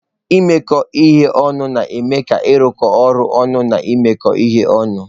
Imekọ ihe ọnụ na-eme ka ịrụkọ ọrụ ọnụ na imekọ ihe ọnụ.